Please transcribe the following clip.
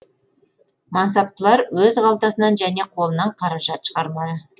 мансаптылар өз қалтасынан және қолынан қаражат шығармады